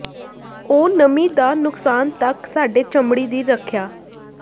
ਉਹ ਨਮੀ ਦਾ ਨੁਕਸਾਨ ਤੱਕ ਸਾਡੇ ਚਮੜੀ ਦੀ ਰੱਖਿਆ